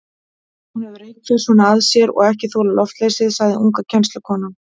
Hún hefur reyrt það svona að sér og ekki þolað loftleysið, sagði unga kennslukonan.